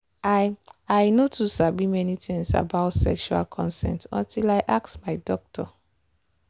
i i no too sabi many things about sexual consent until i ask my doctor.